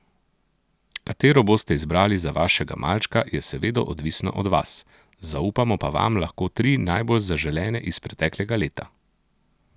Katero boste izbrali za vašega malčka, je seveda odvisno od vas, zaupamo pa vam lahko tri najbolj zaželene iz preteklega leta.